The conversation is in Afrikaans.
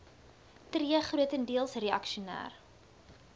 tree grotendeels reaksioner